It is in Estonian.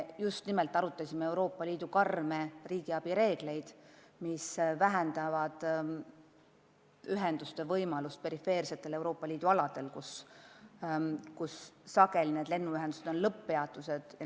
Me arutasime Euroopa Liidu karme riigiabireegleid, mis vähendavad ühenduste võimalust perifeersetel Euroopa Liidu aladel, kus tegu on sageli lennuühenduste lõpp-peatustega.